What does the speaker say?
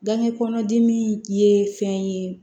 Gankɛ kɔnɔ dimi ye fɛn ye